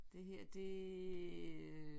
Det her det øh